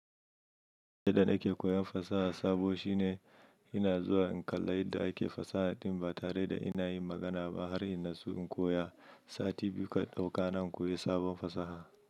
Yadda nake koyon fasaha sabo shine ina zuwa in kalla yadda ake fasaha din ba tare da ina yin magana ba har ina so in koya. Sati biyu kan ɗauka na koyi sabon fasaha.